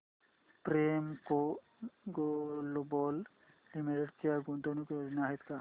Premco global limited च्या गुंतवणूक योजना आहेत का